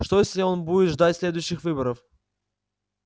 что если он будет ждать следующих выборов